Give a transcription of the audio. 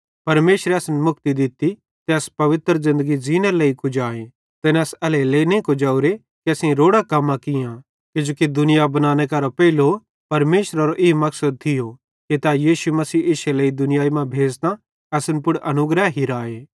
परमेशरे असन मुक्ति दित्ती ते अस पवित्र ज़िन्दगी ज़ींनेरे लेइ कुजाए तैने अस एल्हेरेलेइ नईं कुजवरे कि असेईं रोड़ां कम्मां कियां किजोकि दुनिया बनाने करां पेइलो परमेशरेरो ई मकसद थियो कि तै यीशु मसीह इश्शे लेइ इस दुनिया मां भेज़तां असन पुड़ अनुग्रह हिराए